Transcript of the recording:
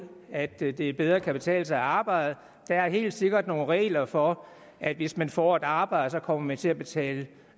at det det bedre kan betale sig at arbejde der er helt sikkert nogle regler for at hvis man får et arbejde kommer man til at betale